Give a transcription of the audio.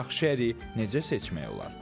Yaxşı əriyi necə seçmək olar?